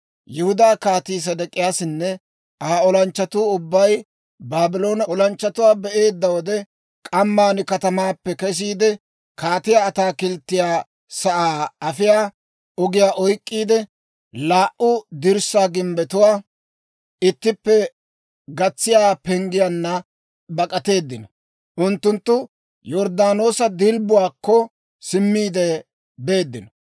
Yihudaa Kaatii Sedek'iyaasinne Aa olanchchatuu ubbay Baabloone olanchchatuwaa be'eedda wode, k'amman katamaappe kesiide, kaatiyaa ataakilttiyaa sa'aa afiyaa ogiyaa oyk'k'iide, laa"u dirssaa gimbbetuwaa ittippe gatsiyaa penggiyaanna bak'ateeddino. Unttunttu Yorddaanoosa Dilbbuwaakko simmiide beeddino.